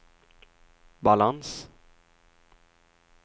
balans